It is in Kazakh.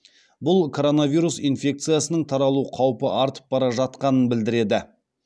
бұл коронавирус инфекциясының таралу қаупі артып бара жатқанын білдіреді